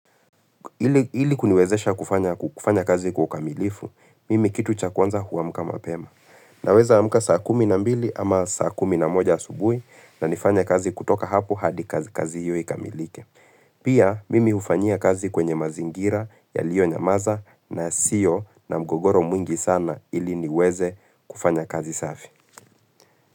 Ili kuniwezesha kufanya kazi kwa ukamilifu, mimi kitu cha kwanza huamka mapema. Naweza amka saa kumi na mbili ama saa kumi na moja asubuhi na nifanye kazi kutoka hapo hadi kazi hio ikamilike. Pia mimi hufanyia kazi kwenye mazingira yalionyamaza na sio na mgogoro mwingi sana ili niweze kufanya kazi safi.